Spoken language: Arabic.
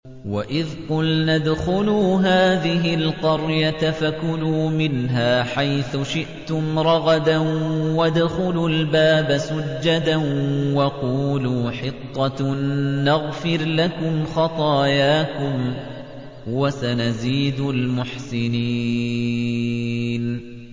وَإِذْ قُلْنَا ادْخُلُوا هَٰذِهِ الْقَرْيَةَ فَكُلُوا مِنْهَا حَيْثُ شِئْتُمْ رَغَدًا وَادْخُلُوا الْبَابَ سُجَّدًا وَقُولُوا حِطَّةٌ نَّغْفِرْ لَكُمْ خَطَايَاكُمْ ۚ وَسَنَزِيدُ الْمُحْسِنِينَ